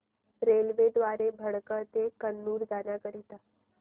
railway द्वारे भटकळ ते कन्नूर जाण्या करीता